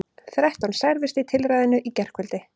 Þrettán særðust í tilræðinu í gærkvöldi